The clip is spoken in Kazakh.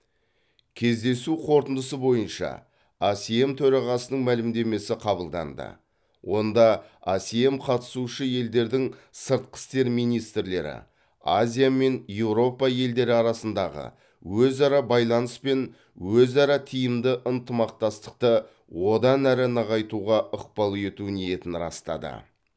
кездесу қорытындысы бойынша асем төрағасының мәлімдемесі қабылданды онда асем қатысушы елдердің сыртқы істер министрлері азия мен еуропа елдері арасындағы өзара байланыс пен өзара тиімді ынтымақтастықты одан әрі нығайтуға ықпал ету ниетін растады